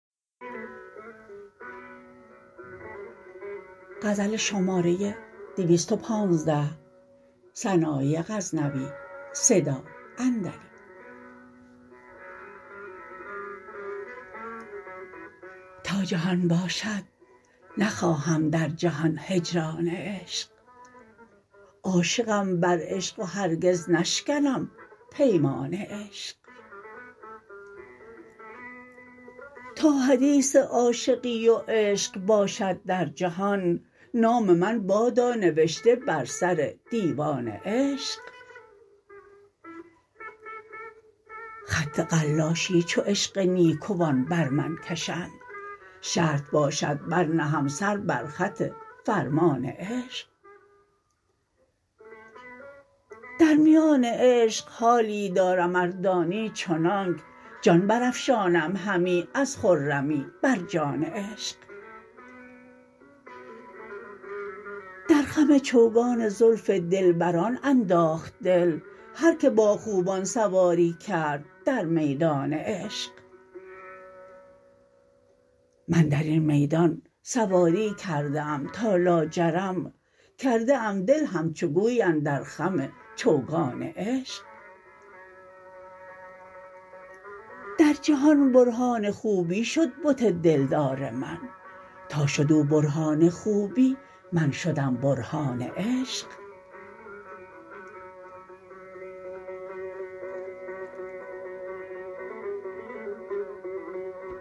تا جهان باشد نخواهم در جهان هجران عشق عاشقم بر عشق و هرگز نشکنم پیمان عشق تا حدیث عاشقی و عشق باشد در جهان نام من بادا نوشته بر سر دیوان عشق خط قلاشی چو عشق نیکوان بر من کشند شرط باشد برنهم سر بر خط فرمان عشق در میان عشق حالی دارم اردانی چنانک جان برافشانم همی از خرمی بر جان عشق در خم چوگان زلف دلبران انداخت دل هر که با خوبان سواری کرد در میدان عشق من درین میدان سواری کرده ام تا لاجرم کرده ام دل همچو گوی اندر خم چوگان عشق در جهان برهان خوبی شد بت دلدار من تا شد او برهان خوبی من شدم برهان عشق